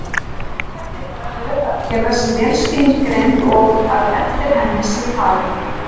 Mikilvægt er að röð aðgerða sé vel skilgreind og að eftir henni sé farið.